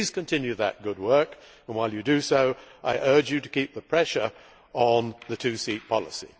Please continue that good work, and while you do so I urge you to keep the pressure on the two seat policy.